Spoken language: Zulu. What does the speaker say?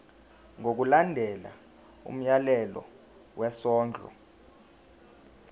ngokulandela umyalelo wesondlo